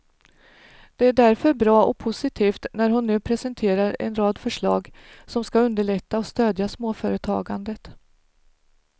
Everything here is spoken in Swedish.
Det är därför bra och positivt när hon nu presenterar en rad förslag som skall underlätta och stödja småföretagandet.